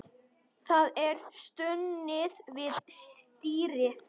Það er stunið við stýrið.